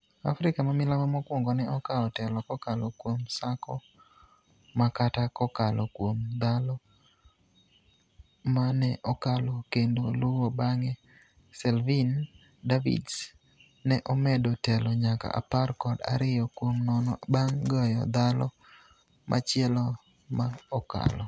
Africa mamilambo mokwongo ne okawo telo kokalo kuom Sako Makata kokalo kuom thalo ma ne okalo kendo luwo bang'e Selvyn Davids ne omedo telo nyaka apar kod ariyo kuom nono bang' goyo thalo machielo ma okalo.